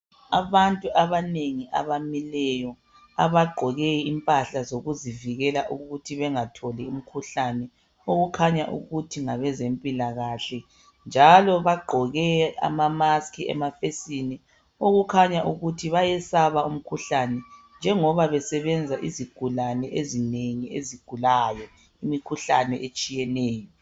Abantu abanengi abamileyo abagqoke impahla zokuzivikela ukuthi bengatholi imkhuhlane. Okukhanya ukuthi ngabezempilakahle njalo bagqoke amamaski emafesini okukhanya ukuthi bayesaba umkhuhlane njengoba besebenza izigulane ezinengi ezigulayo, imikhuhlane etshiyeneyo.